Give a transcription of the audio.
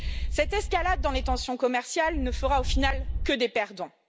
Cette escalade dans les tensions commerciales ne fera, au final, que des perdants.